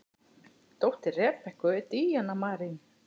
Dóttir Rebekku er Díana Marín.